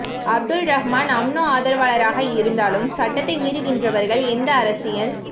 Abdul Rahman UMNO ஆதரவாளராக இருந்தாலும் சட்டத்தை மீறுகின்றவர்கள் எந்த அரசியல்